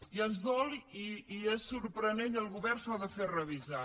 i ens dol i és sorprenent i el govern s’ho ha de fer revisar